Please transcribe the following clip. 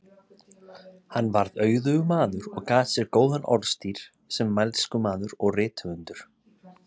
Hann varð auðugur maður og gat sér góðan orðstír sem mælskumaður og rithöfundur.